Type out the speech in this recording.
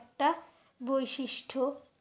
একটা বৈশিষ্ট